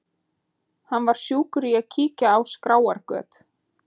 Hann var sjúkur í að kíkja á skráargöt.